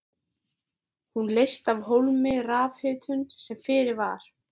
Hún leysti af hólmi rafhitun sem fyrir var.